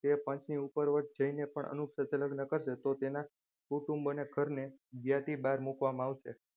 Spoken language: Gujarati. તે પંચની ઉપરવટ જઈને પણ અનુપ સાથે લગ્ન કરશે તો તેના કુટુંબોને ઘરને જ્ઞાતિ બાર મૂકવામાં આવશે.